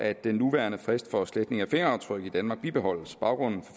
at den nuværende frist for sletning af fingeraftryk i danmark bibeholdes baggrunden